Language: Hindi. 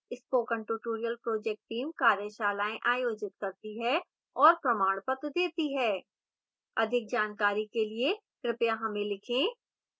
spoken tutorial project team कार्यशालाएँ आयोजित करती है और प्रमाणपत्र देती है अधिक जानकारी के लिए कृपया हमें लिखें